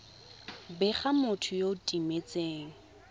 bega motho yo o timetseng